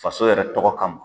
Faso yɛrɛ tɔgɔ kama